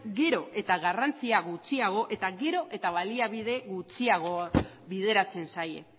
gero eta garrantzia gutxiago eta gero eta baliabide gutxiago bideratzen zaie